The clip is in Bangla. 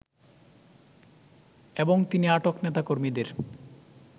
এবং তিনি আটক নেতাকর্মীদের